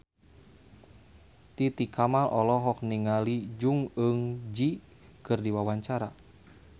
Titi Kamal olohok ningali Jong Eun Ji keur diwawancara